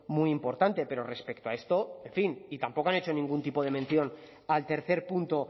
muy importante pero respecto a esto en fin y tampoco han hecho ningún tipo de mención al tercer punto